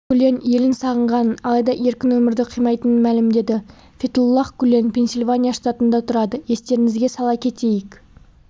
гүлен елін сағынғанын алайда еркін өмірді қимайтынын мәлімдеді фетхуллах гүлен пенсильвания штатында тұрады естеріңізге сала кетейік